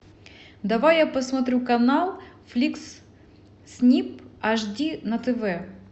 давай я посмотрю канал фликс снип аш ди на тв